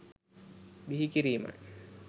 බිහිකිරීමයි.